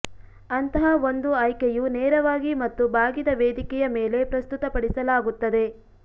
ಅಂತಹ ಒಂದು ಆಯ್ಕೆಯು ನೇರವಾಗಿ ಮತ್ತು ಬಾಗಿದ ವೇದಿಕೆಯ ಮೇಲೆ ಪ್ರಸ್ತುತಪಡಿಸಲಾಗುತ್ತದೆ